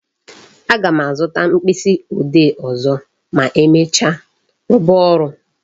A ga m azụta mkpịsị ode ọzọ ma emecha, rụba ọrụ